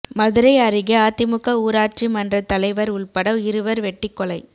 மதுரை அருகே அதிமுக ஊராட்சி மன்றத் தலைவர் உள்பட இருவர் வெட்டிக்கொலை